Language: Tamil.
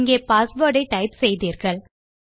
இங்கே பாஸ்வேர்ட் ஐ டைப் செய்தீர்கள்